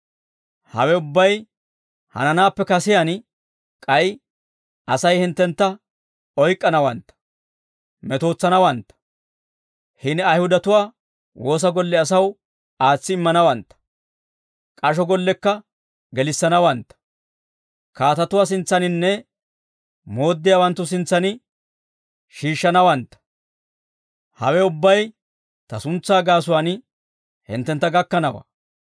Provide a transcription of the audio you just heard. «Hawe ubbay hananaappe kasiyaan k'ay Asay hinttentta oyk'k'anawantta, metootsanawantta; hini Ayihudatuwaa woosa golle asaw aatsi immanawantta; k'asho gollekka gelissanawantta; kaatatuwaa sintsaninne mooddiyaawanttu sintsan shiishshanawantta; hawe ubbay ta suntsaa gaasuwaan hinttentta gakkanawaa.